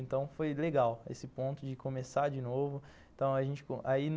Então foi legal esse ponto de começar de novo. Então a gente, aí